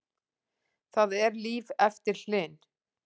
Það er líf eftir Hlyn